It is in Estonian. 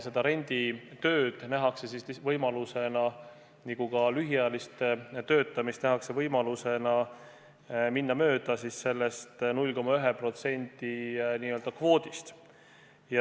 Renditööd ja ka lühiajalist töötamist nähakse võimalusena minna mööda sellest 0,1% kvoodist.